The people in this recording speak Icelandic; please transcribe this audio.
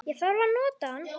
Ég þarf að nota hann